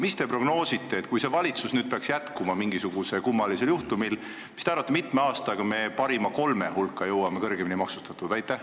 Mis te prognoosite, kui see valitsus mingisugusel kummalisel juhtumil peaks tööd jätkama, kui mitme aastaga me jõuame kolme riigi hulka, kus alkohol on kõige kõrgemini maksustatud?